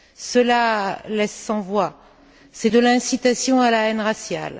Cela laisse sans voix, c'est de l'incitation à la haine raciale.